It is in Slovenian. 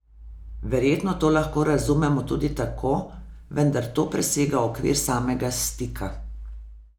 Verjetno to lahko razumemo tudi tako, vendar to presega okvir samega stika.